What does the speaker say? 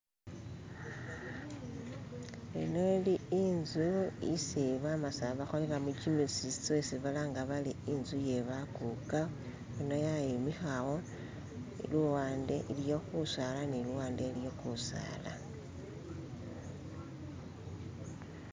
Ino ili inzu isi bamasaba bakoleramo jjimizizo isi balanga bati inzu iye bakuka, ino yayimikawo, luwande iliyo gusaala ni luwande iliyo gusaala.